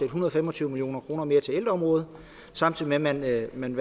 hundrede og fem og tyve million kroner mere til ældreområdet samtidig med at man